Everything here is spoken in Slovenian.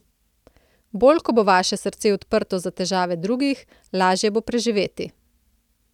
Bolj ko bo vaše srce odprto za težave drugih, lažje bo preživeti.